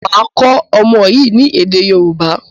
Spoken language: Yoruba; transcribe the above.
Màá kọ́ ọmọ yín ni èdè Yòrúbá.